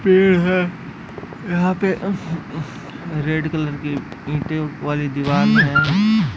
पेड़ है यहाँ पे हम्म हम्म रेड कलर की ईंटे वाली दिवार है।